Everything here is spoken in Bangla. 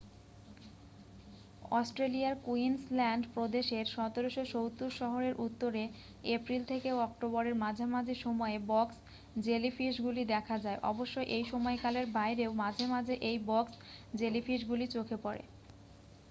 অস্ট্রেলিয়ার কুইন্সল্যান্ড প্রদেশের '1770' শহরের উত্তরে এপ্রিল থেকে অক্টোবরের মাঝামাঝি সময়ে বক্স জেলিফিশগুলি দেখা যায়। অবশ্য এই সময়কালের বাইরেও মাঝে মাঝে এই বক্স জেলিফিশগুলি চোখে পড়ে।